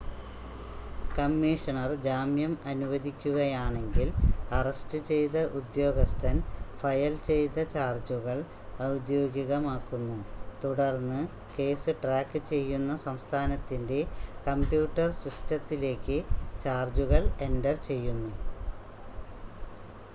commissioner ജാമ്യം അനുവദിക്കുകയാണെങ്കിൽ arrest ചെയ്ത ഉദ്യോഗസ്ഥൻ ഫയൽ ചെയ്ത ചാർജുകൾ ഔദ്യോഗികമാക്കുന്നു തുടർന്ന് കേസ് ട്രാക്ക് ചെയ്യുന്ന സംസ്ഥാനത്തിൻ്റെ കമ്പ്യൂട്ടർ സിസ്റ്റത്തിലേക്ക് ചാർജുകൾ എൻ്റർ ചെയ്യുന്നു